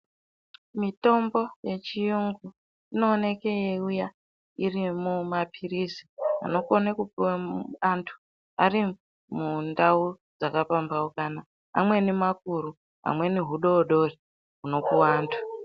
Mitombo ye chiyungu ino oneke yei uya iri mu mapirizi anokone kupuwe antu ari mundau dzaka pambaukana amweni makuru amweni hudodori huno puwa antu.